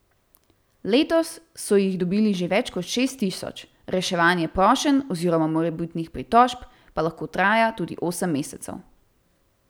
Letos so jih dobili že več kot šest tisoč, reševanje prošenj oziroma morebitnih pritožb pa lahko traja tudi osem mesecev.